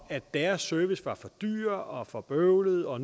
at deres service var for dyr og for bøvlet og